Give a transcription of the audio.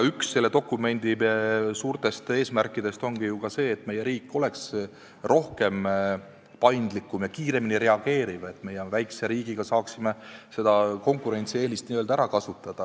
Üks selle dokumendi suurtest eesmärkidest ongi ju ka see, et meie riik oleks paindlikum ja kiiremini reageeriv, et meie väikese riigina saaksime seda konkurentsieelist ära kasutada.